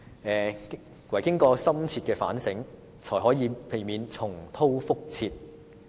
只有經過深切反省，才可以避免重蹈覆轍。